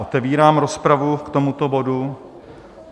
Otevírám rozpravu k tomuto bodu.